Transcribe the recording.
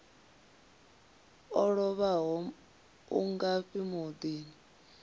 o lovhaho u ngafhi muḓini